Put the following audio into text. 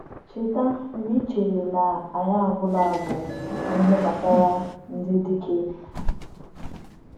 “Cheta mgbe e chere na anyị agwụla agwụ n’ihe gbasara ndị dike?”